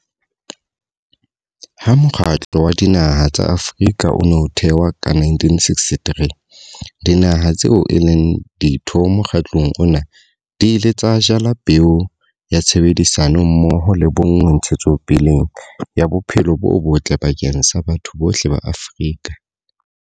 Ha Mokgatlo wa Dinaha tsa Afrika o ne o thewa ka 1963, dinaha tseo e leng ditho mokgatlong ona di ile tsa jala peo ya tshebedisano mmoho le bonngwe ntshetsopeleng ya bophelo bo botle bakeng sa batho bohle ba Afrika.